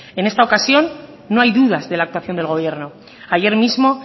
en esta ocasión no hay dudas de la actuación del gobierno ayer mismo